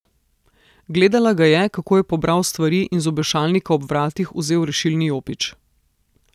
Gledala ga je, kako je pobral stvari in z obešalnika ob vratih vzel rešilni jopič.